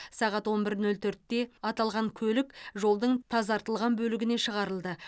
сағат он бір нөл төртте аталған көлік жолдың тазартылған бөлігіне шығарылды